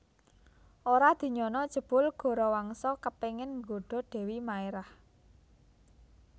Ora dinyana jebul Gorawangsa kepéngin nggoda Dèwi Maérah